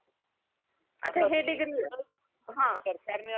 याचा हे डिग्री आहे हां